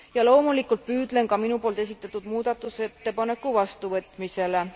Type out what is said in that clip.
Ja loomulikult püüdlen ka minu poolt esitatud muudatusettepaneku vastuvõtmisele.